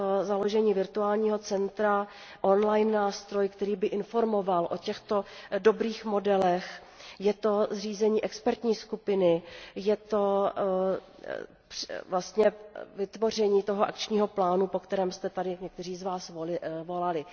založení virtuálního centra online, online nástroje, který by informoval o těchto dobrých modelech, je to zřízení expertní skupiny, je to vlastně vytvoření toho akčního plánu, po kterém jste tady někteří z vás volali.